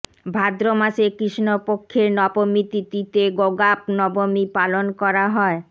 ভাদ্রমাসের কৃষ্ণপক্ষের নবমী তিথিতে গোগা নবমী পালন করা হয়